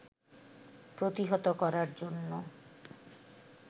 প্রতিহত করার জন্য